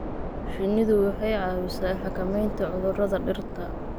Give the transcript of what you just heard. Shinnidu waxay caawisaa xakamaynta cudurrada dhirta.